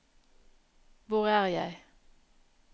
hvor er jeg